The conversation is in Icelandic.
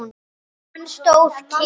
Hann stóð kyrr.